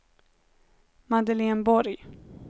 Madeleine Borg